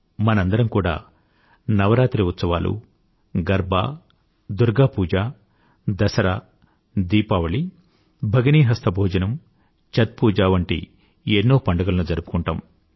మనందరమూ కూడా నవరాత్రి ఉత్సవాలుగర్బా దుర్గా పూజ దసరా దీపావళి భగినీ హస్త భోజనం ఛత్ పూజ వంటి ఎన్నో పండుగలను జరుపుకుంటాము